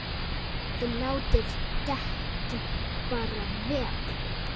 ÞIÐ LÁTIÐ DEKKIN BARA VERA!